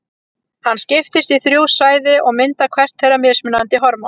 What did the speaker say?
Hann skiptist í þrjú svæði og myndar hvert þeirra mismunandi hormón.